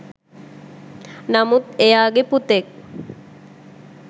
නමුත් එයාගෙ පුතෙක්